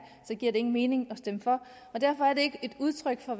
så giver det ingen mening at stemme for og derfor er det ikke et udtryk for